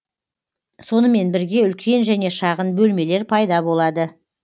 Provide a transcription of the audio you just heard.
сонымен бірге үлкен және шағын бөлмелер пайда болады